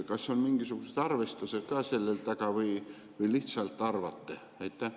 Kas on mingisugused arvestused ka selle taga või te lihtsalt arvate?